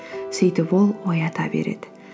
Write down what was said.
сөйтіп ол оята береді